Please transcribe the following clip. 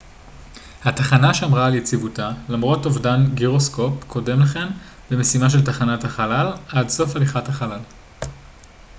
התחנה שמרה על יציבותה למרות אובדן גירוסקופ קודם לכן במשימה של תחנת החלל עד סוף הליכת החלל